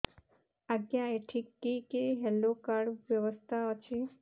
ଆଜ୍ଞା ଏଠି କି କି ହେଲ୍ଥ କାର୍ଡ ବ୍ୟବସ୍ଥା ଅଛି